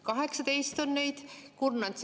18 on neid!